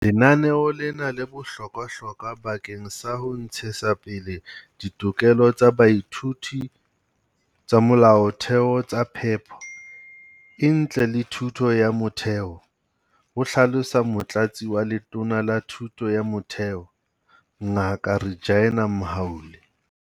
Lenaneo lena le bohlokwahlokwa bakeng sa ho ntshetsapele ditokelo tsa baithuti tsa molaotheo tsa phepo e ntle le thuto ya motheo, ho hlalosa Motlatsi wa Letona la Thuto ya Motheo, Ngaka Reginah Mhaule.